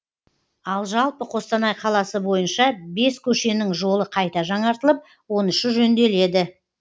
ал жалпы қостанай қаласы бойынша бес көшенің жолы қайта жаңартылып он үші жөнделеді